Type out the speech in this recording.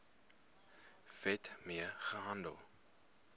wet mee gehandel